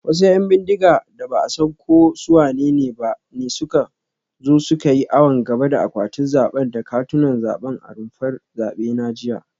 Wasu ‘yan bindiga da ba a san ko su wanene ba ne suka zo suka yi awon gaba da akwatunan zabe da katunan zabe a rumfar zabe na jiya